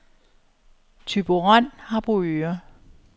Thyborøn-Harboøre